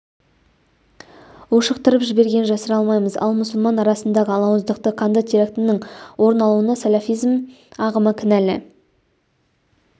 ушықтырып жібергенін жасыра алмаймыз ал мұсылмандар арасындағы алауыздық қанды террактінің орын алуына сәләфизм ағымы кінәлі